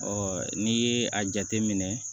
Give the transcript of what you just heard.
n'i ye a jateminɛ